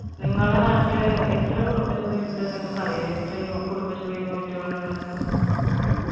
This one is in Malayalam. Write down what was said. നിങ്ങളെ നാട്ടില് എത്ര കുടുംബശ്രീ ഇണ്ട് നിങ്ങക്ക് എത്ര കുടുംബശ്ര unit ഉകളുണ്ട് ന്ന്‌